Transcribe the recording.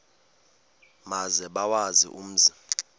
maze bawazi umzi